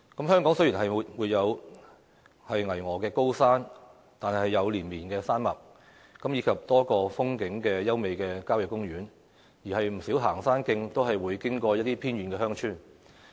香港雖然沒有巍峨高山，卻有連綿山脈，以及多個風景優美的郊野公園，而不少行山徑都會經過一些偏遠鄉村。